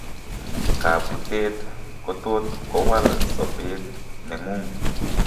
Kabutet kotot kowal sobeet neng'ung'